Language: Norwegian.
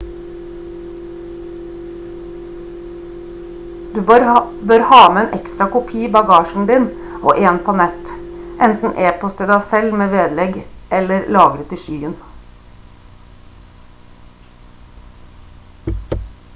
du bør ha med en ekstra kopi i bagasjen din og en på nett enten e-post til deg selv med vedlegg eller lagret i «skyen»